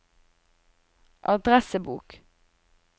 adressebok